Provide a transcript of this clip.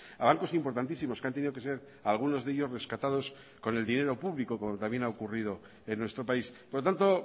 a bancos importantísimos que han tenido que ser algunos de ellos rescatados con el dinero público como también ha ocurrido en nuestro país por lo tanto